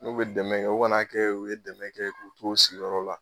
N'u bɛ dɛmɛ kɛ u kan'a kɛ u ye dɛmɛ k'u t'u sigiyɔrɔ la.